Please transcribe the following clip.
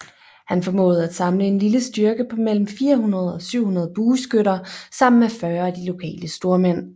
Han formåede at samle en lille styrke på mellem 400 og 700 bueskytter sammen med 40 af de lokale stormænd